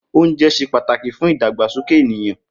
Oúnje̩ s̩e pàtàkì fún ìdàgbàsoke ènìyàn